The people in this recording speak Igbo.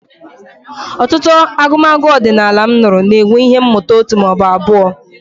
Ọtụtụ agụmagụ ọdịnala m nụrụ na-enwe ihe mmụta òtù ma ọ bụ abụọ.